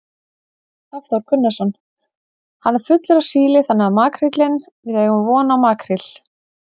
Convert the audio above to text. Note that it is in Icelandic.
Hafþór Gunnarsson: Hann er fullur af síli þannig að makríllinn, við eigum von á makríl?